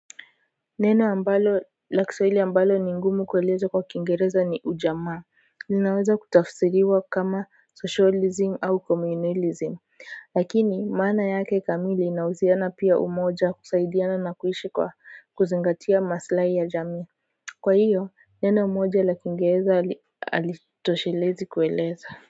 Neno ambalo la Kiswahili ambalo ni ngumu kueleza kwa kingereza ni ujamaa linaweza kutafisiriwa kama socializing au communalizing lakini maana yake kamili inahusiana pia umoja kusaidiana na kuishi kwa kuzingatia maslai ya jamii kwa hiyo neno moja la kingereza alitoshelezi kueleza.